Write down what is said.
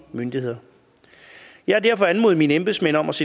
enkelte ministeriers